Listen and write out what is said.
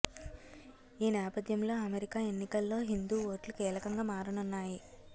ఈ నేపధ్యంలో అమెరికా ఎన్నికల్లో హిందూ ఓట్లు కీలకంగా మారనున్నాయి